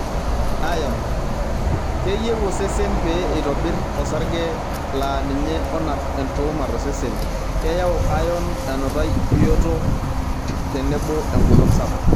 Ayon:Keyieu osesen pee eitobirr osarge laa ninye onap entuuma tosesen. Keyau ayon enutai bioto tenebo engolon sapuk.